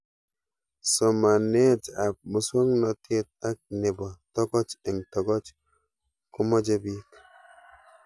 Somanet ab muswognatet ak nepo tokoch eng' tokoch ko mache pik